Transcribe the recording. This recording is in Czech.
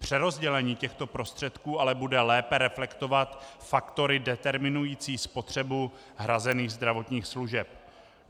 Přerozdělení těchto prostředků ale bude lépe reflektovat faktory determinující spotřebu hrazených zdravotních služeb.